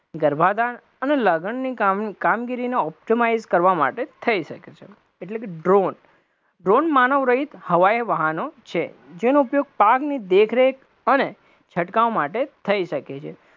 ગર્ભાદન અને લગનની કામગીરીને optimize કરવા માટે થઇ શકે છે, એટલે કે drone, drone માનવ રહિત હવાઈ વાહનો છે, જેનો ઉપયોગ પાકની દેખરેખ અને છટકાવ માટે થઇ શકે છે,